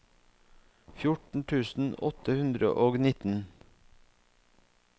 fjorten tusen åtte hundre og nitten